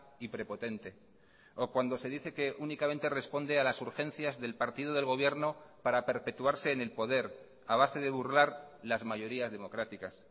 y prepotente o cuando se dice que únicamente responde a las urgencias del partido del gobierno para perpetuarse en el poder a base de burlar las mayorías democráticas